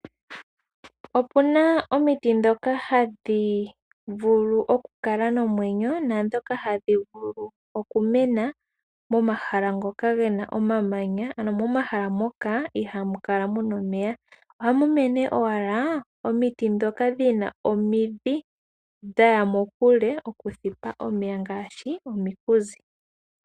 Opuna omiti dhoka hadhi vulu okukala nomwenyo naadhoka hadhi vulu okumena momahala ngoka gena omamanya ano momahala moka ihamu kala muna omeya. Ohamu mene owala omiti dhoka dhina omidhi dhaya mokule okuthipa omeya ngaashi, ominkuzi.